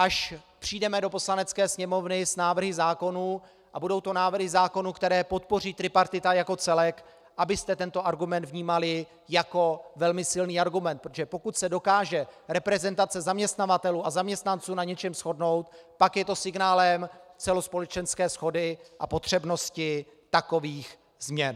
Až přijdeme do Poslanecké sněmovny s návrhy zákonů a budou to návrhy zákonů, které podpoří tripartita jako celek, abyste tento argument vnímali jako velmi silný argument, protože pokud se dokáže reprezentace zaměstnavatelů a zaměstnanců na něčem shodnout, pak je to signálem celospolečenské shody a potřebnosti takových změn.